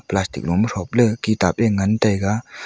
plastic lo ma thople kitab ee ngan taiga.